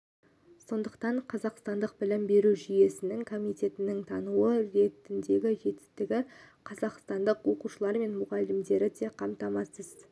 сондықтан қазақстандық білім беру жүйесінің комитетінің тануы ретіндегі жетістігі қазақстандық оқушылар мен мұғалімдері де қамтамасыз